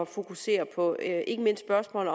fokusere på ikke mindst spørgsmålet